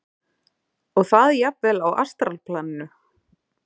Og það jafnvel á astralplaninu.